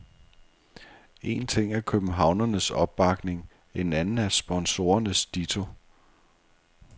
En ting er københavnernes opbakning, en anden er sponsorernes ditto.